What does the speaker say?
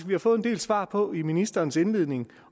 vi har fået en del svar på i ministerens indledning